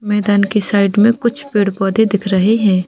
मैदान के साइड में कुछ पेड़-पौधे दिख रहे है।